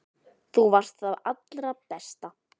Þú varst það allra besta.